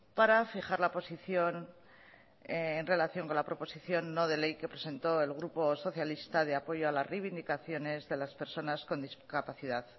para fijar la posición en relación con la proposición no de ley que presentó el grupo socialista de apoyo a las reivindicaciones de las personas con discapacidad